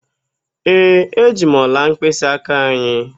Ee, eji m ọla mkpịsịaka anyị.